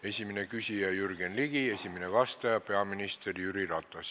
Esimene küsija on Jürgen Ligi, esimene vastaja peaminister Jüri Ratas.